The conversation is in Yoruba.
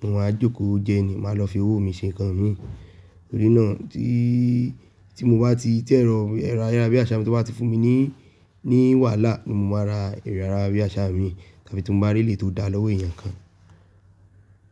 mo máa jókòó jẹ́ ẹni, màá lọ fi owó mi ṣe nǹkan mi. Torí náà tí, tí mo bá ti tí ẹ̀rọ, ẹ̀rọ ayárabíàṣá mi tó bá ti fún mi ní, ní wàhálà ni mo máa ra ẹ̀rọ ayárabíàṣá mi, tá bí ti mo bá rí eleyi tó dá lọ́wọ́ èèyàn kan.